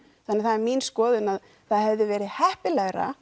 þannig að það er mín skoðun að það hefði verið heppilegra